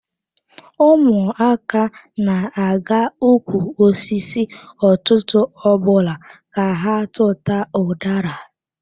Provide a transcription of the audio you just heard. Ụmụaka na-aga ụkwụ osisi ụtụtụ ọbụla ka ha tutu ọ udara.